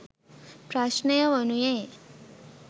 ප්‍රශ්නය වනුයේ